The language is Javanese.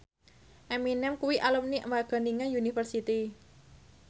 Eminem kuwi alumni Wageningen University